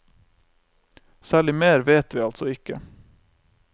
Særlig mer vet vi altså ikke.